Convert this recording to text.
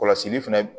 Kɔlɔsili fɛnɛ